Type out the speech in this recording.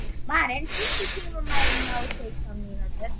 Maren, stilltu tímamælinn á sautján mínútur.